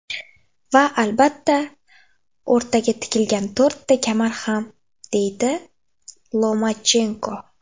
Va albatta, o‘rtaga tikilgan to‘rtta kamar ham”, deydi Lomachenko.